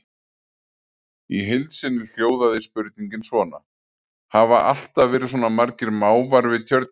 Í heild sinni hljóðaði spurningin svona: Hafa alltaf verið svona margir máfar við tjörnina?